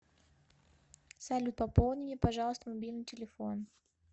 салют пополни мне пожалуйста мобильный телефон